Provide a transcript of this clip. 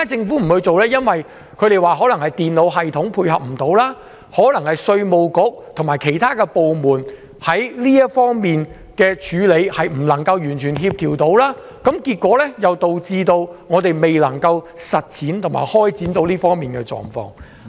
據說是因為電腦系統無法配合、稅務局及其他部門在這方面未能夠完全協調，結果導致我們未能夠設立這種制度。